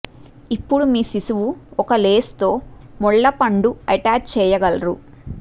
ఇప్పుడు మీ శిశువు ఒక లేస్ తో ముళ్ళ పండు అటాచ్ చెయ్యగలరు